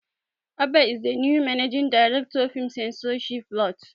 Abba is the new managing director, film censorship board.